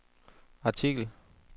artikel